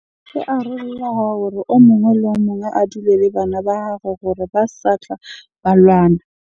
Ke hore o mong le o mong a dule le bana ba gagwe hore ba sa tla ba lwana.